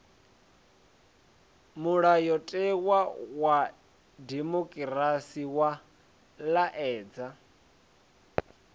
mulayotewa wa dimokirasi wa laedza